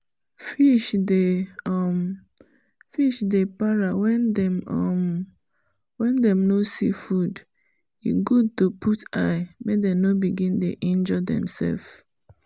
fish dey um para when dem um no see food e good to put eye make them no begin dey injure themself